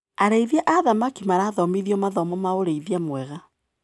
Arĩithia a thamaki marathomithio mathomo ma ũrĩithia mwega.